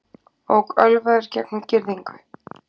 Ók ölvaður gegnum girðingu